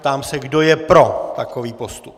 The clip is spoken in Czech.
Ptám se, kdo je pro takový postup.